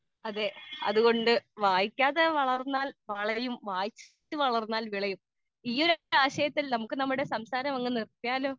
speaker 2 അതെ അതുകൊണ്ട് വായിക്കാതെ വളർന്നാൽ വളയും വായിച്ചു വളർന്നാൽ വിളയും ഈ ഒരൊറ്റ ആശയത്തിൽ നമുക്ക് നമ്മുടെ സംസാരം അങ്ങ് നിർത്തിയാലോ